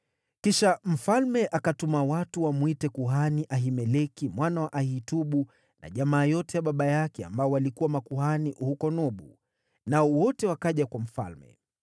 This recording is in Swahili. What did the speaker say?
Kisha mfalme akatuma watu wamwite kuhani Ahimeleki mwana wa Ahitubu, na jamaa yote ya baba yake, waliokuwa makuhani huko Nobu, nao wote wakaja kwa mfalme.